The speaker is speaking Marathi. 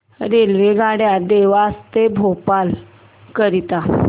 रेल्वेगाड्या देवास ते भोपाळ करीता